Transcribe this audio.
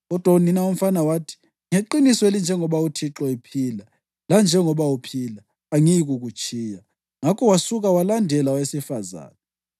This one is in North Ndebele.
Kodwa unina womfana wathi, “Ngeqiniso elinjengoba uThixo ephila lanjengoba uphila, angiyikukutshiya.” Ngakho wasuka walandela owesifazane.